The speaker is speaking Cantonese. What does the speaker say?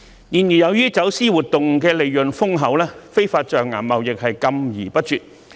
然而，由於走私活動利潤豐厚，非法象牙貿易禁之不絕。